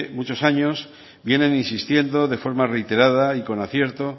muchos años vienen insistiendo de forma reiterada y con acierto